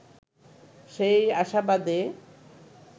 সেই আশাবাদে